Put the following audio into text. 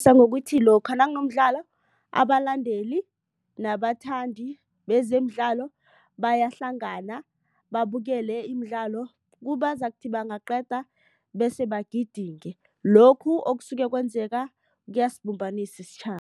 Ngokuthi lokha nakunomdlalo abalandeli nabathandi bezemidlalo bayahlangana babukele imidlalo kuzakuthi bangaqeda bese bagidinge lokhu okusuke kwenzeka kuyasibumbanisa isitjhaba.